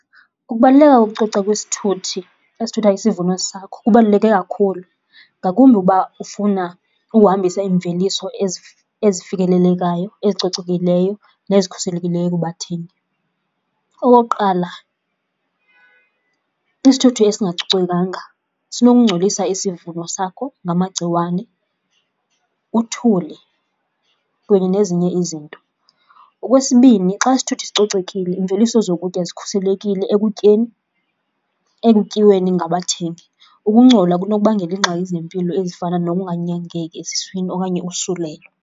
Ukubaluleka kokucoca kwisithuthi esithutha isivuno sakho kubaluleke kakhulu ngakumbi uba ufuna uhambisa imveliso ezifikelelekayo, ezicocekileyo nezikhuselekileyo kubathengi. Okokuqala, isithuthi esingacocekanga sinokungcolisa isivuno sakho ngamagciwane, uthuli kunye nezinye izinto. Okwesibini, xa isithuthi sicocekile imveliso zokutya zikhuselekile ekutyeni ekutyiweni ngabathengi. Ukungcola kunokubangela iingxaki zempilo ezifana nokunganyangeki eziswini okanye usulelo.